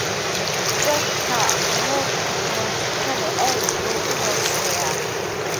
jodhpur heerka taraafikada aad buu u hooseeyaa